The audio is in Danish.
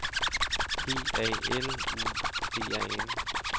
P A L U D A N